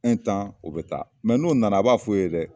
u bɛ taa n'u nana a b'a f'u ye dɛ!